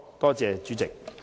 多謝主席。